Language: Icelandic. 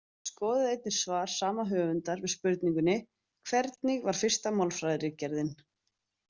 Skoðið einnig svar sama höfundar við spurningunni Hvernig var fyrsta málfræðiritgerðin?